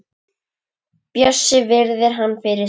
Bjössi virðir hana fyrir sér.